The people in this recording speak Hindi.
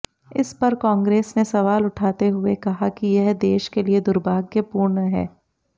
इस पर कांग्रेस ने सवाल उठाते हुए कहा कि यह देश के लिए दुर्भाग्यपूर्ण है